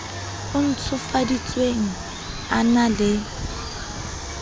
o ntshofaditsweng a na le